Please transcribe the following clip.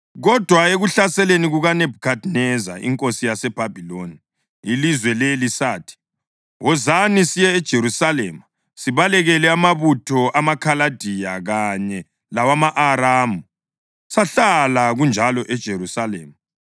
Kodwa ekuhlaseleni kukaNebhukhadineza inkosi yaseBhabhiloni ilizwe leli, sathi, ‘Wozani siye eJerusalema sibalekele amabutho amaKhaladiya kanye lawama-Aramu.’ Sahlala kanjalo eJerusalema.”